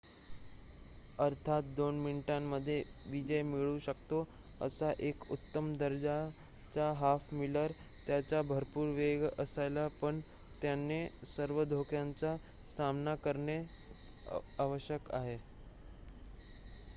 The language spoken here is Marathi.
अर्थात 2 मिनिटांमध्ये विजय मिळवू शकतो असा एक उत्तम दर्जाचा हाफ-मिलर त्याच्याकडे भरपूर वेग असायला पण त्याने सर्व धोक्यांचा सामना करणे आवश्यक आहे